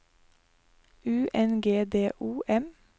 U N G D O M